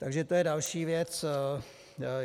Takže to je další věc.